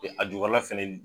Be a ju kɔrɔla fɛnɛ